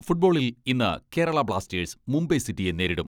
ഫുട്ബോളിൽ ഇന്ന് കേരളാ ബ്ലാസ്റ്റേഴ്സ് മുംബൈ സിറ്റിയെ നേരിടും.